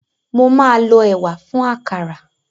Mo máa lọ ẹ̀wà fún àkàrà.